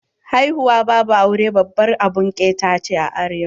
Haihuwa babu aure babbar abun ƙeta ne a arewa.